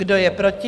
Kdo je proti?